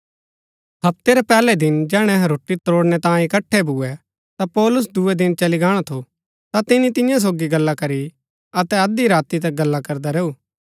हप्ते रै पैहलै दिन जैहणै अहै रोटी त्रोड़णै तांयें इकट्ठै भूए ता पौलुस दूये दिन चली गाणा थु ता तिनी तियां सोगी गल्ला करी अतै अध्धी राती तक गल्ला करदा रैऊ